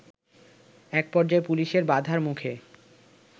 এক পর্যায়ে পুলিশের বাধার মুখে